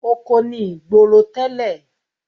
Oko ni ìgboro tẹ́lẹ̀.